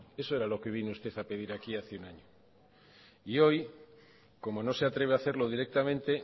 eso era lo que vino usted a pedir aquí hace un año y hoy como no se atreve a hacerlo directamente